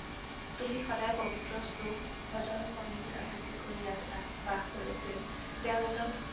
তুমি সদায় পৱিত্ৰ শ্লোক, ভজন, বন্দী আবৃতি কৰি আছা, বাস কৰিছিল। তেওঁ এজন